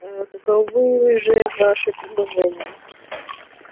ээ каковы же ваши предложения